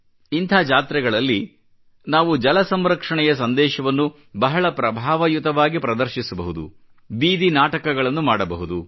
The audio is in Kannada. ಇಂಥ ಜಾತ್ರೆಗಳಲ್ಲಿ ನಾವು ಜಲ ಸಂರಕ್ಷಣೆಯ ಸಂದೇಶವನ್ನು ಬಹಳ ಪ್ರಭಾವಯುತವಾಗಿ ಪ್ರದರ್ಶಿಸಬಹುದು ಬೀದಿ ನಾಟಕಗಳನ್ನು ಮಾಡಬಹುದು